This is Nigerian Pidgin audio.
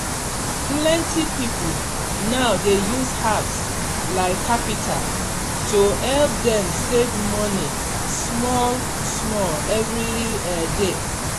plenti people now dey use apps like Capital to help dem save money small-small every um day.